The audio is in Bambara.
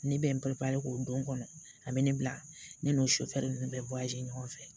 Ne bɛ n k'o don kɔnɔ a bɛ ne bila ne n'o sofɛri ninnu bɛ ɲɔgɔn fɛ